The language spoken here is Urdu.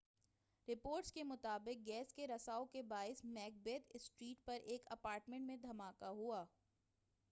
رپورٹس کے مطابق گیس کے رساؤ کے باعث میک بیتھ اسٹریٹ پر ایک اپارٹمنٹ میں دھماکہ ہوا ہے